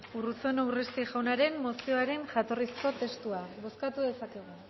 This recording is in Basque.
urruzuno urresti jaunaren mozioaren jatorrizko testua bozkatu dezakegu